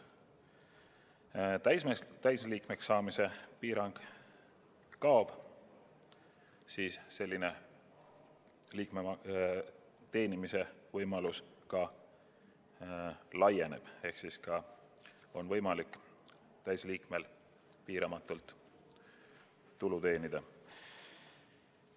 Täisliikmeks saamisel see piirang kaob ning liikme teenimisvõimalus laieneb ehk täisliikmel on võimalik piiramatult tulu teenida.